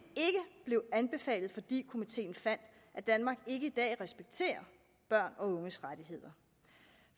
blev anbefalet fordi komiteen fandt at danmark ikke i dag respekterer børns og unges rettigheder